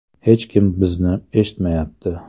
Hech kim bizni eshitmayapti.